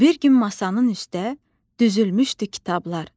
Bir gün masanın üstə düzülmüşdü kitablar.